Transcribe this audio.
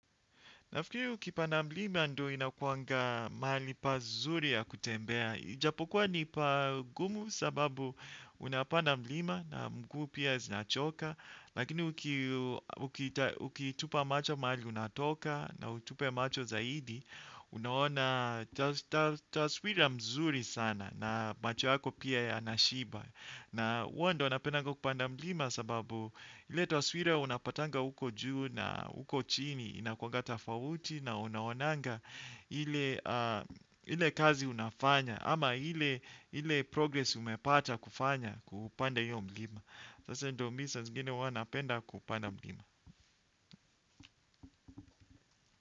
Nafikiri ukipanda mlima ndo inakuanga mahali pazuri ya kutembea. Ijapokuwa nipa gumu sababu unapanda mlima na mguu pia zinachoka. Lakini ukitupa macho mahali unatoka na utupe macho zaidi, unaona taswira mzuri sana na macho yako pia yanashiba. Na huwa ndo napendanga kupanda mlima sababu ile taswira unapatanga huko juu na huko chini inakuanga tofauti na unaonanga ile kazi unafanya ama ili progresi umepata kufanya kupanda hiyo mlima. Sasa ndo mi saa zingine huwa napenda kupanda mlima.